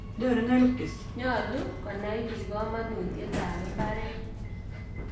Nyalu konai piik kamanutiet ap mbaret.